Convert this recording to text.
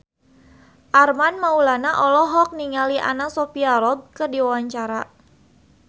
Armand Maulana olohok ningali Anna Sophia Robb keur diwawancara